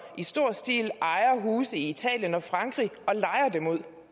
i stor stil ejer huse i italien og frankrig